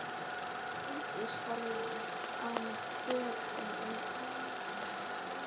Sóldís horfði á mig döprum augum.